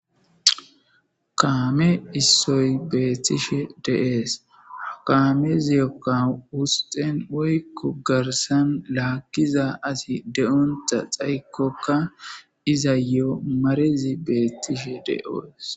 Kaame issoy beeththishe de7ees; kaameziyokka wusxen woykko garssan laakkiza asi de7onththa xayikokka izayoo marezi beeththishe de7oos.